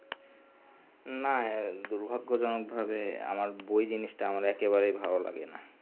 না দুর্ভাগ্য জনক ভাবে আমার বই জিনিষটা একেবারে ভালো লাগেনা